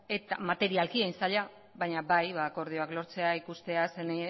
materialki hain zaila baina bai akordioak lortzea ikustea